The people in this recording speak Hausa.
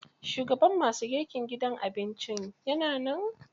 Shugaban ma su girkin gidan abincin ya na nan?